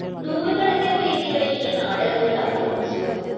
നൂറുകണക്കിന്‌ വേദികളില്‍ ഈ നാടകങ്ങള്‍ അവതരിപ്പിച്ചു